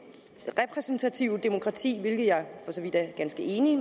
demokrati hvilket jeg for så vidt er ganske enig i